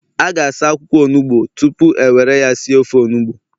A ga-asa akwụkwọ onugbo tupu e were ya si ofe onugbu